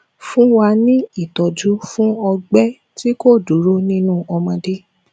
fun wa ni ìtọjú fún ogbe ti ko duro ninu omode